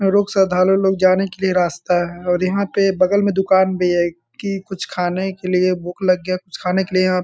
लोग जाने के लिए रास्ता है और यहाँ पे बगल में दुकान भी है की कुछ खाने के लिए भूख लग गया कुछ खाने के लिए यहाँ --